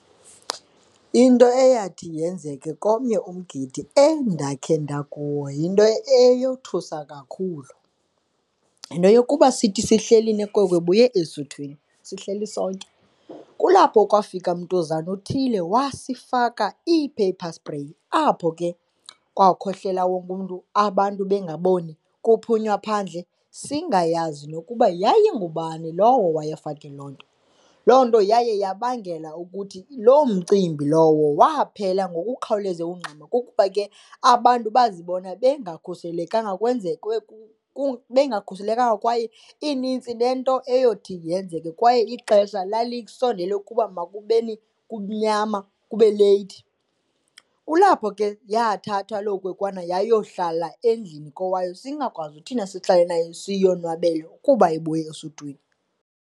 Into eyathi yenzeke komnye umgidi endakhe ndakuwo yinto eyothusa kakhulu. Yinto yokuba sithi sihleli nenkwekwe ebuye esuthwini, sihleli sonke kulapho kwafika mntuzana othile wasifaka i-paper spray. Apho ke kwakhohlela wonke umntu, abantu bengaboni, kuphunywa phandle singayazi nokuba yayingubani lowo waye wafaka loo nto. Loo nto yaye yabangela ukuthi loo mcimbi lowo waphela ngokukhawuleza nokungxama kukuba ke abantu bazibona bengakhuselekanga bengakhuselekanga kwaye inintsi nento eyothi yenzeke kwaye ixesha lalisondele ukuba makubeni mnyama, kube leyithi. Kulapho ke yathathwa loo kwenkwana yayohlala endlini kowabo singakwazi thina sihlale nayo siyonwabele kuba ibuya esuthwini.